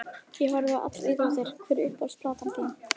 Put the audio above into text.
Ég horfi á allar íþróttir Hver er uppáhalds platan þín?